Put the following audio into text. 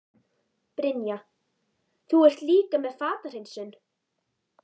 Brynja: Þú ert líka með fatahreinsun?